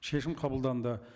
шешім қабылданды